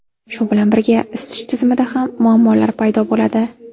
Shu bilan birga, isitish tizimida ham muammolar paydo bo‘ladi.